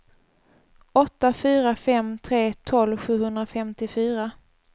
åtta fyra fem tre tolv sjuhundrafemtiofyra